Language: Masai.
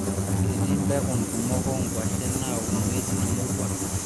Ketii mpekun kumok oo kwashen naaunoi tina murua